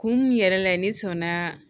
Kun yɛrɛ la ne sɔnna